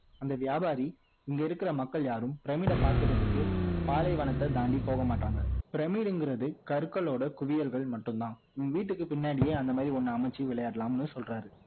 அந்த வியாபாரி இங்க இருக்கிற மக்கள் யாரும் பிரமிட பார்க்குறதுக்கு பாலைவனத்தை தாண்டி போக மாட்டாங்க பிரமிடுங்கிறது கற்களோட குவியல் மட்டும் தான் நீ வீட்டுக்கு பின்னாடியே அந்த மாதிரி ஒன்னு அமைச்சு விளையாடலாம்னு சொல்றாரு